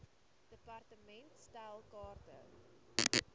department stel kaarte